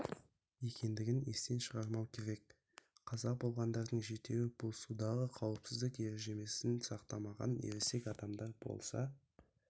екендігін естен шығармау керек қаза болғандардың жетеуі бұл судағы қауіпсіздік ережесін сақтамаған ересек адамдар болса